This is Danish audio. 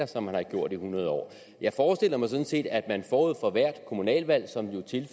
som man har gjort i hundrede år jeg forestiller mig sådan set at man forud for hvert kommunalvalg